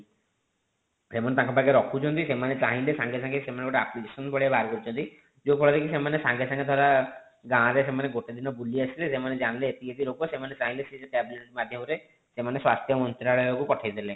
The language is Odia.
ସେମାନେ ତାଙ୍କ ପାଖରେ ରଖୁଛନ୍ତି ସେମାନେ ଚାହିଁଲେ ସାଙ୍ଗେ ସାଙ୍ଗେ ସେମାନେ ଗୋଟେ application ଭଳିଆ ବାହାର କରୁଛନ୍ତି ଯେଉଁ ଫଳରେ ସେମାନେ ସାଙ୍ଗେ ସାଙ୍ଗେ ଧର ଗାଁ ରେ ସେମାନେ ଗୋଟେ ଦିନ ବୁଲି ଆସିଲେ ସେମାନେ ଜାଣିଲେ ଏତିକି ଏତିକି ଲୋକ ସେମାନେ ଚାହିଁଲେ ସେ tablet ମାଧ୍ୟମରେ ସେମାନେ ସ୍ୱାସ୍ଥ୍ୟ ମନ୍ତ୍ରାଳୟ କୁ ପଠାଇ ଦେଲେ